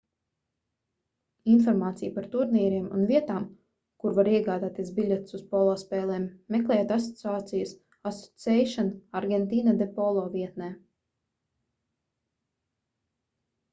informāciju par turnīriem un vietām kur var iegādāties biļetes uz polo spēlēm meklējiet asociācijas asociacion argentina de polo vietnē